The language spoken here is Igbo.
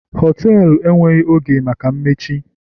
họtelu enweghị oge maka mmechi